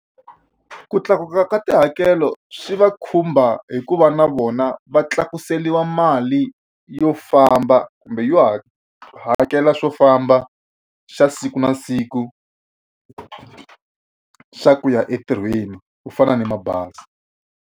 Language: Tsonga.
Ku tlakuka ka tihakelo swi va khumba hi ku va na vona va tlakuseriwa mali yo famba kumbe yo ha hakela swo famba xa siku na siku xa ku ya entirhweni ku fana ni mabazi.